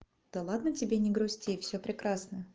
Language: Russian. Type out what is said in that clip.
да ладно тебе не грусти всё прекрасно